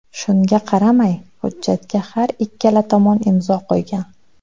Shunga qaramay, hujjatga har ikkala tomon imzo qo‘ygan.